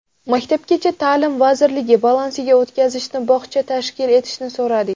Maktabgacha ta’lim vazirligi balansiga o‘tkazishni, bog‘cha tashkil etishni so‘radik.